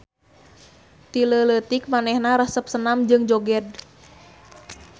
Ti leuleutik manehna resep senam jeung joged.